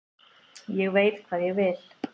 Ég veit hvað ég vil.